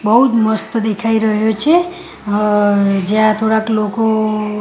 બઉજ મસ્ત દેખાય રહ્યો છે અ જ્યાં થોડાક લોકો--